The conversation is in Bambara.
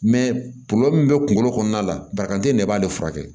min bɛ kunkolo kɔnɔna la barika den i b'ale furakɛ